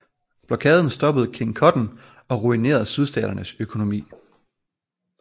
Blokaden stoppede King Cotton og ruinerede Sydstaternes økonomi